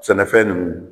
Sɛnɛfɛn ninnu